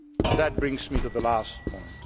That brings me to the last point.